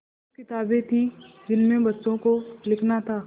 कुछ किताबें थीं जिनमें बच्चों को लिखना था